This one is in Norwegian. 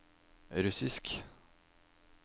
russisk